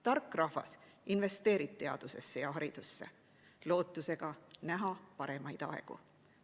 Tark rahvas investeerib teadusesse ja haridusse lootusega näha paremaid aegu.